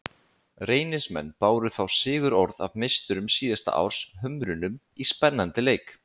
Reynismenn báru þá sigurorð af meisturum síðasta árs, Hömrunum, í spennandi leik.